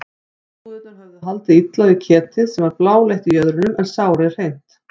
Umbúðirnar höfðu haldið illa við ketið sem var bláleitt í jöðrunum en sárið hreint.